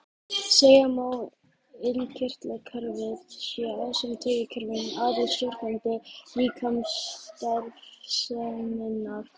Segja má að innkirtlakerfið sé ásamt taugakerfinu aðalstjórnandi líkamsstarfseminnar.